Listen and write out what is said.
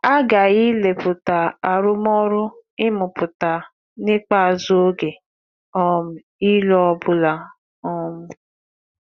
A ghaghị ilepụta arụmọrụ ịmụpụta n’ikpeazụ oge um ịlụ ọ bụla. um